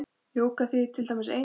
Jóga þýðir til dæmis eining.